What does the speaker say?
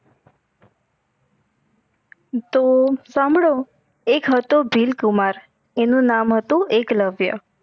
તો સાંભળો એક હતો ભીલકુમાર એનું નામ હતું એકલવ્ય